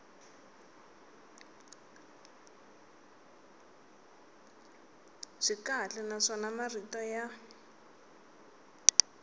byi kahle naswona marito ya